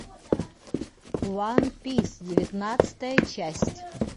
ван пис девятнадцатая часть